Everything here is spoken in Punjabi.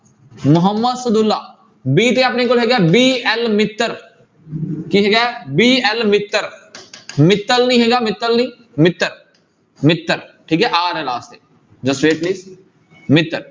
ਮੁਹੰਮਦ ਸਦਉਲਾ b ਤੇ ਆਪਣੇ ਕੋਲ ਹੈਗਾ ਹੈ BL ਮਿੱਤਰ ਕੀ ਹੈਗਾ ਹੈ BL ਮਿੱਤਰ ਮਿੱਤਲ ਨੀ ਹੈਗਾ ਮਿੱਤਲ ਨੀ ਮਿੱਤਰ, ਮਿੱਤਰ ਠੀਕ ਹੈ r ਹੈ last ਤੇ ਮਿੱਤਰ